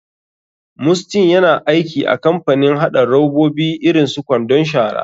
Mustyn yana aiki a kamapanin haɗa robabi irin su kwandon shara.